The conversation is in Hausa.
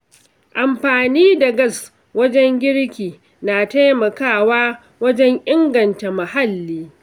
Amfani da gas wajen girki na taimakawa wajen inganta muhalli.